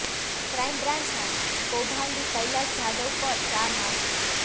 crime બ્રાંચના કૌભાંડી કૈલાસ જાધવ પર ચાર હાથ